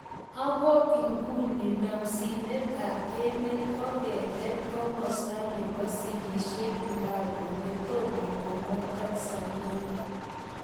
Oko iguni namsinet ap emet koketet komosta nepo sigisiet pango netoma komwa Tanzania